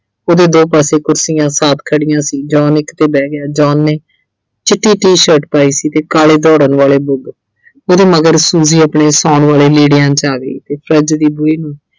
ਉਹਦੇ ਦੋ ਪਾਸੇ ਕੁਰਸੀਆਂ ਸਾਫ਼ ਖੜੀਆਂ ਸੀ John ਇੱਕ ਤੇ ਬਹਿ ਗਿਆ John ਨੇ ਚਿੱਟੀ ਟੀ-ਸ਼ਰਟ ਪਾਈ ਸੀ ਤੇ ਕਾਲੇ ਦੌੜਨ ਵਾਲੇ ਬੂਟ ਉਹਦੇ ਮਗਰ Fuji ਆਪਣੇ ਸੌਣ ਵਾਲੇ ਲੀੜਿਆਂ 'ਚ ਆ ਗਈ ਤੇ Fridge ਦੇ ਬੂਹੇ ਨੂੰ